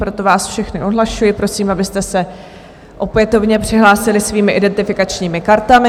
Proto vás všechny odhlašuji, prosím, abyste se opětovně přihlásili svými identifikačními kartami.